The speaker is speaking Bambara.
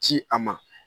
Ci a ma